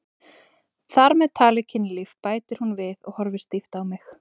Þar með talið kynlíf, bætir hún við og horfir stíft á mig.